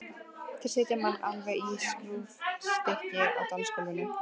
Þeir setja mann alveg í skrúfstykki á dansgólfinu.